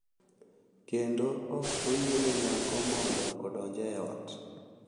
kendo ok oyiene nyako mondo odonj e ot.